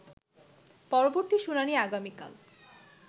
পরবর্তী শুনানি আগামীকাল